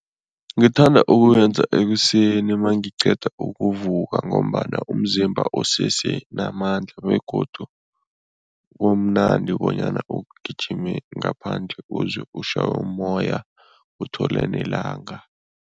Ngithanda ukuyenza ekuseni mangiqeda ukuvuvuka ngombana umzimba usesenamandla begodu kumnandi bonyana ugijime ngaphandle, uzwe ushaywe mmoya, uthole nelanga.